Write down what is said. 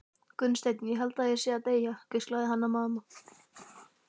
Gunnsteinn, ég held ég sé að deyja, hvíslaði Hanna-Mamma.